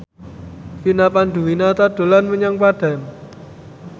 Vina Panduwinata dolan menyang Padang